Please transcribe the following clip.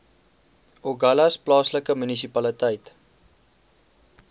agulhas plaaslike munisipaliteit